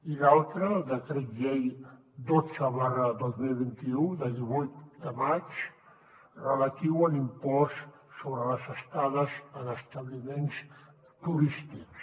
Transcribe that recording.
i l’altre el decret llei dotze dos mil vint u de divuit de maig relatiu a l’impost sobre les estades en establiments turístics